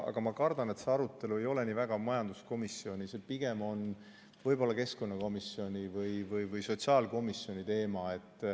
Aga ma kardan, et see arutelu ei ole mitte majanduskomisjonis, vaid on pigem keskkonnakomisjoni või sotsiaalkomisjoni teema.